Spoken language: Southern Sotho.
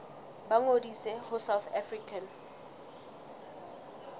ba ngodise ho south african